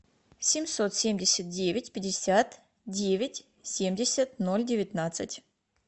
семьсот семьдесят девять пятьдесят девять семьдесят ноль девятнадцать